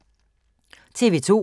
TV 2